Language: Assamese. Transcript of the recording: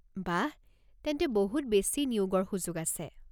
বাঃ! তেন্তে বহুত বেছি নিয়োগৰ সুযোগ আছে।